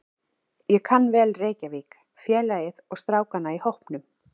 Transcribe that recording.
Ég kann vel Reykjavík, félagið og strákana í hópnum.